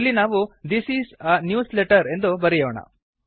ಇಲ್ಲಿ ನಾವು this is a newsletter ಎಂದು ಬರೆಯೋಣ